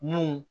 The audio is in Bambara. Mun